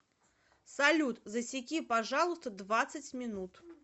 салют засеки пожалуйста двадцать минут